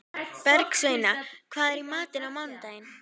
Bergsveina, hvað er í matinn á mánudaginn?